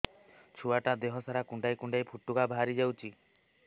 ଛୁଆ ଟା ଦେହ ସାରା କୁଣ୍ଡାଇ କୁଣ୍ଡାଇ ପୁଟୁକା ବାହାରି ଯାଉଛି